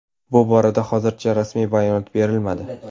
Bu borada hozircha rasmiy bayonot berilmadi.